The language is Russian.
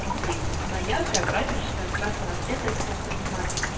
рублей она яркая праздничная красного цвета из плотной бумаги